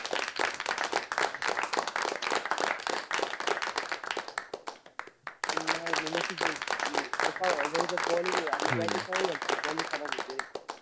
अं नाय न नसती जिंकली. अरे काय अह जडेजा bowling अह हे आपले batting काय माहिती, bowling खराब होती रे.